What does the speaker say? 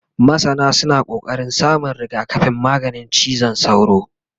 masana suna ƙoƙarin samun rigakafin maganin cizon sauro